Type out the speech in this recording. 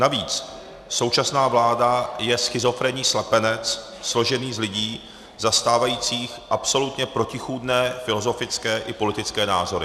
Navíc současná vláda je schizofrenní slepenec složený z lidí zastávajících absolutně protichůdné filozofické i politické názory.